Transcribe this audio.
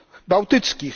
bałtyckich.